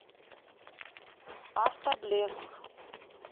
автоблеск